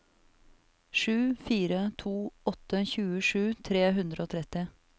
sju fire to åtte tjuesju tre hundre og tretti